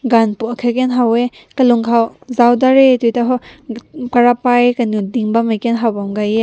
gün pu aakat ken ha weh kalüng kaw zaotadre to karapai kanew ding bam meh ke gaye.